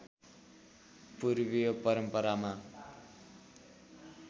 पूर्वीय परम्परामा